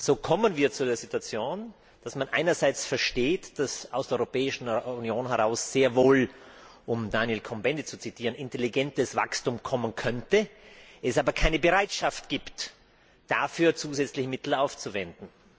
So kommen wir zu der Situation, dass man einerseits versteht, dass aus der Europäischen Union heraus sehr wohl um Daniel Cohn Bendit zu zitieren intelligentes Wachstum kommen könnte, es aber keine Bereitschaft gibt, dafür zusätzliche Mittel aufzuwenden.